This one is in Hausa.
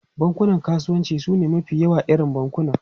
Bankunan kasuwanci sune mafi yawan irin bankuna.